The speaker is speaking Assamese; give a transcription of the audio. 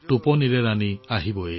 টোপনি যোৱা টোপনি যোৱা